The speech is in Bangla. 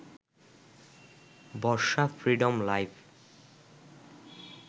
Barsha freedom life